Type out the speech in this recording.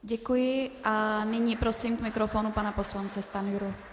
Děkuji a nyní prosím k mikrofonu pana poslance Stanjuru.